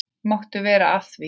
Máttu vera að því?